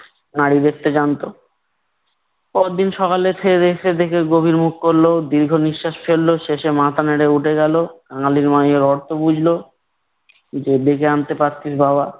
নাড়ি দেখতে জানতো। পরদিন সকালে খেয়েদেয়ে এসে দেখে গভীর মুখ করলো। দীর্ঘ নিশ্বাস ফেললো। শেষে মাথা নেড়ে উঠে গেলো। কাঙালির মা এর অর্থ বুঝলো। যে আনতে পারছিস বাবা।